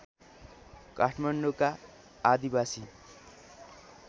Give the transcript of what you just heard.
काठमाडौँका आदिवासी